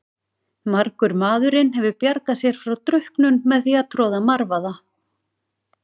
Margur maðurinn hefur bjargað sér frá drukknun með því að troða marvaða.